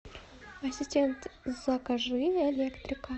ассистент закажи электрика